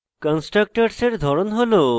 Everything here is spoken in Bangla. কন্সট্রাকটরসের ধরন হল